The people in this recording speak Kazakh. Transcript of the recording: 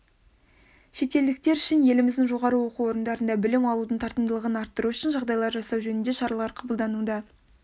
шетелдіктер үшін еліміздің жоғары оқу орындарында білім алудың тартымдылығын арттыру үшін жағдайлар жасау жөнінде шаралар қабылдануда